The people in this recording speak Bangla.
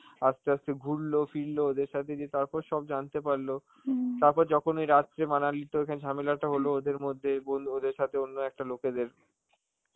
আস্তে আস্তে ঘুরলো ফিরল ওদের সাথে যেয়ে, তারপর সব জানতে পারলো. তারপর যখন ওই রাত্রে মানালিতে ওখানে ঝামেলাটা হলো ওদের মধ্যে, বল~ ওদের সাথে অন্য একটা লোকেদের